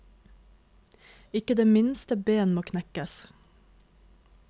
Ikke det minste ben må knekkes.